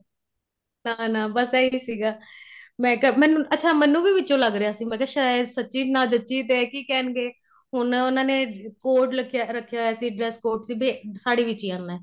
ਨਾ ਨਾ ਬੱਸ ਇਹੀ ਸੀਗਾ ਮੈਂ ਕਿਆ ਮੈਨੂੰ ਅੱਛਾ ਮੈਨੂੰ ਵਿੱਚੋ ਲੱਗ ਰਿਹਾ ਸੀ ਮੈਂ ਕਿਹਾ ਸਾਇਦ ਸਚੀ ਨਾ ਜੱਚੀ ਤੇ ਕੀ ਕਹਿਣਗੇ ਹੁਣ ਉਹਨਾ ਨੇ code ਰੱਖਿਆ ਹੋਇਆ ਸੀ dress code ਸੀ ਵੀ ਸਾੜੀ ਵਿੱਚ ਹੀ ਆਣਾ